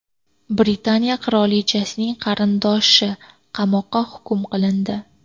Britaniya qirolichasining qarindoshi qamoqqa hukm qilindi.